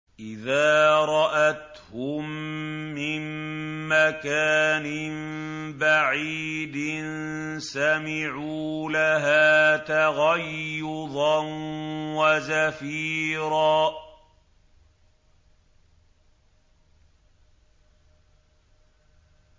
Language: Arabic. إِذَا رَأَتْهُم مِّن مَّكَانٍ بَعِيدٍ سَمِعُوا لَهَا تَغَيُّظًا وَزَفِيرًا